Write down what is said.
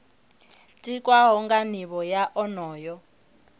tikwaho nga nivho ya onoyo